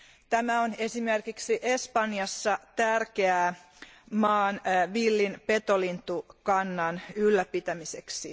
Tämä on esimerkiksi Espanjassa tärkeää maan villin petolintukannan ylläpitämiseksi.